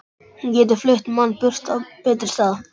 Hún getur flutt mann burt á betri stað.